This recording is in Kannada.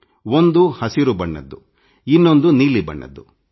ಒಂದು ಹಸಿರು ಬಣ್ಣದ್ದು ಇನ್ನೊಂದು ನೀಲಿ ಬಣ್ಣದ್ದು